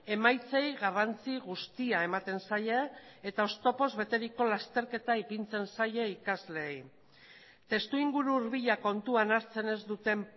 emaitzei garrantzi guztia ematen zaie eta oztopoz beteriko lasterketa ipintzen zaie ikasleei testuinguru hurbila kontuan hartzen ez duten